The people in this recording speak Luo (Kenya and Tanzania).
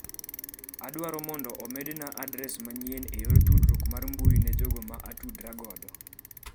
Adwaro mondo omedna adres manyien e yor tdruok ar mbui ne jogo ma atudo ra godo.